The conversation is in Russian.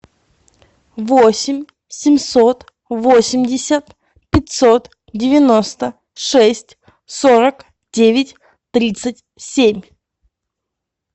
восемь семьсот восемьдесят пятьсот девяносто шесть сорок девять тридцать семь